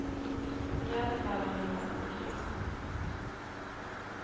I alla fall om du lånar till resan.